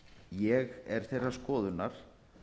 ég er þeirrar skoðunar